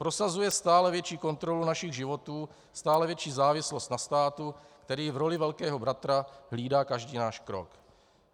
Prosazuje stále větší kontrolu našich životů, stále větší závislost na státu, který v roli velkého bratra hlídá každý náš krok.